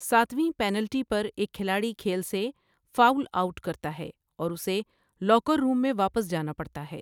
ساتویں پینلٹی پر ایک کھلاڑی کھیل سے 'فاؤل آؤٹ' کرتا ہے، اور اسے لاکر روم میں واپس جانا پڑتا ہے۔